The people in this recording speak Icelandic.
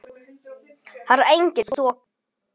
Þar er engin þoka.